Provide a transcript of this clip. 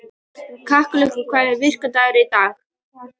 Kjallakur, hvaða vikudagur er í dag?